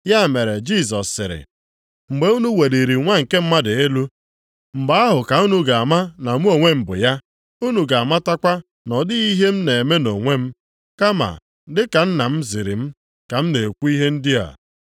Ya mere Jisọs sịrị, “Mgbe unu weliri Nwa nke Mmadụ elu, mgbe ahụ ka unu ga-ama na mụ onwe m bụ ya. Unu ga-amatakwa na ọ dịghị ihe m na-eme nʼonwe m, kama, dị ka Nna m ziri m ka m na-ekwu ihe ndị a.